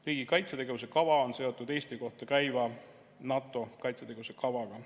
Riigi kaitsetegevuse kava on seotud Eesti kohta käiva NATO kaitsetegevuse kavaga.